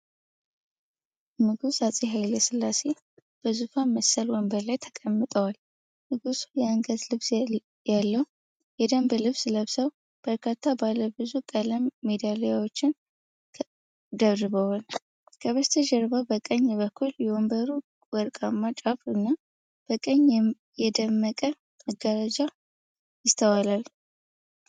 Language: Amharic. ንጉስ አጼ ሃይሌ ስላሴ በዙፋን መሰል ወንበር ላይ ተቀምጠዋል። ንጉሱ የአንገት ልብስ ያለው የደንብ ልብስ ለብሰው፣ በርካታ ባለብዙ ቀለም ሜዳሊያዎችን ደርበዋል። ከበስተጀርባ በቀኝ በኩል የወንበሩ ወርቃማ ጫፍ እና በቀይ የደመቀ መጋረጃ ይስተዋላል።